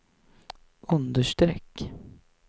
understreck